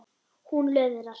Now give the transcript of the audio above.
Hún löðrar.